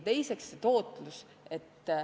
Teine teema on tootlus.